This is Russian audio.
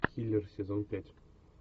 киллер сезон пять